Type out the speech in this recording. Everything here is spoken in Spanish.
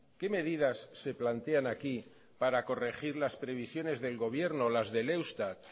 qué medidas se plantean aquí para corregir las previsiones del gobierno las del eustat